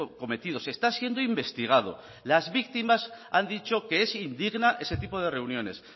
cometidos está siendo investigado las víctimas han dicho que es indigna ese tipo reuniones